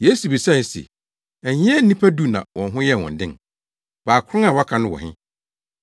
Yesu bisae se, “Ɛnyɛ nnipa du na wɔn ho yɛɛ wɔn den? Baakron a wɔaka no wɔ he?